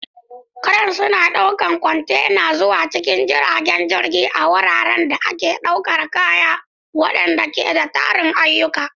Cranes suna ɗaukar kwantena zuwa cikin jiragen jirage a wuraren da ake ɗaukar kaya, waɗanda ke da tarin ayyuka.